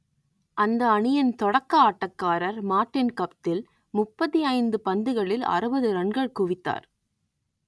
அந்த அணியின் தொடக்க ஆட்டக்காரர் மார்டின் கப்தில் முப்பத்தி ஐந்து பந்துகளில் அறுபது ரன்கள் குவித்தார்